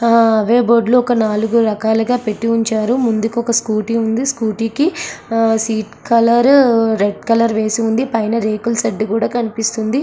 ఆహ్ ఏవ్ బోర్డులు . ఒక నాలుగు రకాలుగా పెట్టి ఉంచారు. ముందుకొక స్కూటీ ఉంది. స్కూటీ ఒక సీట్ కలర్ రెడ్ కలర్ వేసి ఉంది. పైన రేకుల సెడ్ కూడా కనిపిస్తుంది.